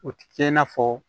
O ti kɛ i n'a fɔ